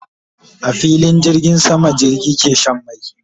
A filin jirgin sama jirgi ke Shan mai